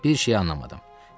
Bir şeyi anlamadım.